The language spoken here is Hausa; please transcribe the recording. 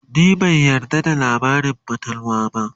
ni ban yarda da labarin fatalwa ba